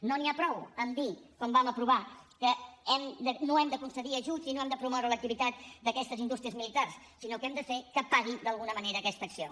no n’hi ha prou en dir com vam aprovar que no hem de concedir ajuts i no hem de promoure l’activitat d’aquestes indústries militars sinó que hem de fer que paguin d’alguna manera aquesta acció